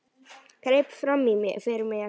Greip fram í fyrir mér.